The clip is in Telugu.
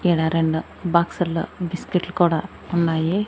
ఈడ రెండు బాక్సుల్లో బిస్కెట్లు కూడా ఉన్నాయి.